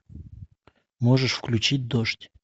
можешь включить дождь